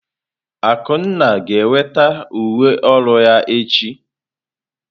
Akunna ga-enweta uwe ọrụ ya echi.